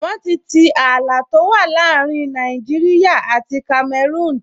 Wọ́n ti tii ààlà tó wà láàrin Nàìjíríyà àti Kamẹrúùn